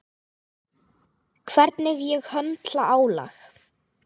Hvernig ég höndla álag.